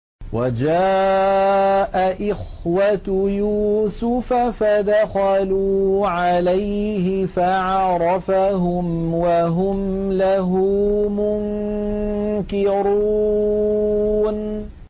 وَجَاءَ إِخْوَةُ يُوسُفَ فَدَخَلُوا عَلَيْهِ فَعَرَفَهُمْ وَهُمْ لَهُ مُنكِرُونَ